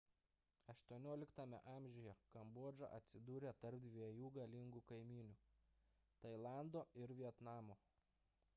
xviii a kambodža atsidūrė tarp dviejų galingų kaimynių – tailando ir vietnamo